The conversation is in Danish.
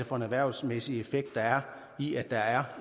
for en erhvervsmæssig effekt der er i at der er